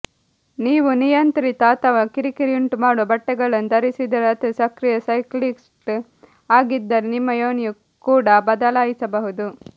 ನೀವು ನಿಯಂತ್ರಿತ ಅಥವಾ ಕಿರಿಕಿರಿಯುಂಟುಮಾಡುವ ಬಟ್ಟೆಗಳನ್ನು ಧರಿಸಿದರೆ ಅಥವಾ ಸಕ್ರಿಯ ಸೈಕ್ಲಿಸ್ಟ್ ಆಗಿದ್ದರೆ ನಿಮ್ಮ ಯೋನಿಯು ಕೂಡ ಬದಲಾಯಿಸಬಹುದು